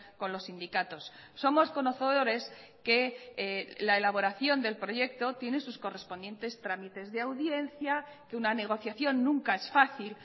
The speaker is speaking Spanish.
con los sindicatos somos conocedores que la elaboración del proyecto tiene sus correspondientes trámites de audiencia que una negociación nunca es fácil